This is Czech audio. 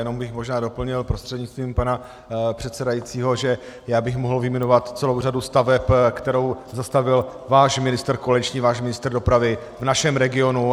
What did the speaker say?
Jenom bych možná doplnil prostřednictvím pana předsedajícího, že já bych mohl vyjmenovat celou řadu staveb, kterou zastavil váš ministr koaliční, váš ministr dopravy v našem regionu.